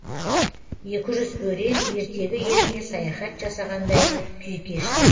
екі жүз өрен ертегі еліне саяхат жасағандай күй кешті